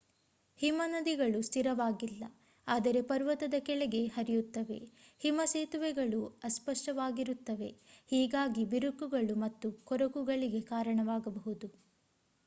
ಹಿಮನದಿಗಳು ಸ್ಥಿರವಾಗಿಲ್ಲ ಆದರೆ ಪರ್ವತದ ಕೆಳಗೆ ಹರಿಯುತ್ತವೆ ಹಿಮ ಸೇತುವೆಗಳು ಅಸ್ಪಷ್ಟವಾಗಿರುತ್ತವೆ ಹೀಗಾಗಿ ಬಿರುಕುಗಳು ಮತ್ತು ಕೊರಕುಗಳಿಗೆ ಕಾರಣವಾಗಬಹುದು